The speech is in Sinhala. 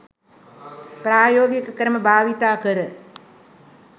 ප්‍රායෝගික ක්‍රම භාවිතා කර